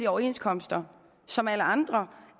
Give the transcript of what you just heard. overenskomster som alle andre